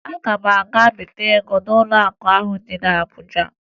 Aga m aga bite ego n'ụlọakụ ahụ dị na Abuja